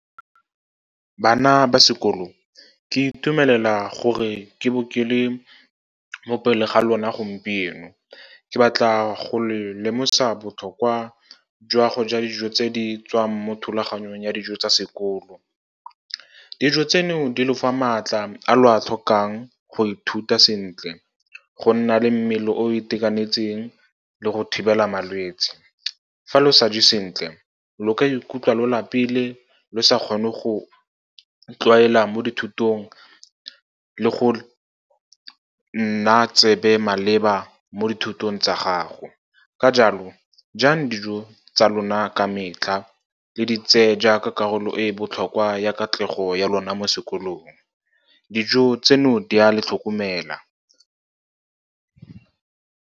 Bana ba sekolo, ke itumelela gore ke bo ke le mo pele ga lona gompieno. Ke batla go lemosa botlhokwa jwa go ja dijo tse di tswang mo thulaganyong ya dijo tsa sekolo. Dijo tseno di lo fa maatla a lo a tlhokang go ithuta sentle, go nna le mmele o itekanetseng le go thibela malwetse. Fa lo sa je sentle, lo ka ikutlwa lo lapile, le sa kgone go tlwaela mo dithutong le go nna tsebe maleba mo dithutong tsa gago. Ka jalo, jang dijo tsa lona ka metlha, le di tseye jaaka karolo e botlhokwa ya katlego ya lona mo sekolong, dijo tseno di a le tlhokomela.